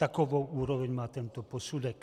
Takovou úroveň má tento posudek.